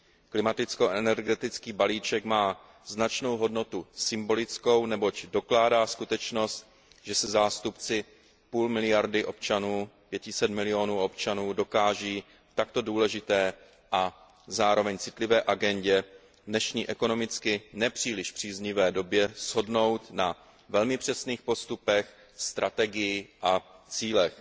Klimaticko energetický balíček má značnou hodnotu symbolickou, neboť dokládá skutečnost, že se zástupci půl miliardy občanů, 500 milionů občanů, dokáží v takto důležité a zároveň citlivé agendě v dnešní ekonomicky ne příliš příznivé době shodnout na velmi přesných postupech, strategii a cílech.